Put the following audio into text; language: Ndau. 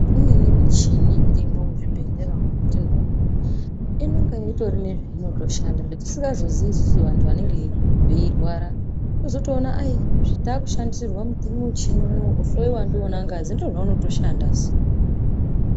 Imweni muchini irimwo muzvibhedhlera umu inenge ine zvainotoshanda zvatisingazii isusu vantu vanenge veirwara wozotoona kuti takushandisirwa muchini wohloiwa ndiwona ngazi ndozvaunoto shandasu.